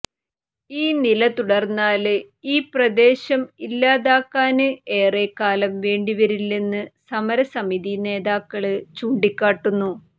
ഈ നിലതുടര്ന്നാല് ഈ പ്രദേശം ഇല്ലാതാകാന് ഏറെ കാലം വേണ്ടിവരില്ലെന്ന് സമരസമിതി നേതാക്കള് ചൂണ്ടിക്കാട്ടുന്നു